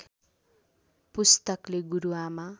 पुस्तकले गुरु आमा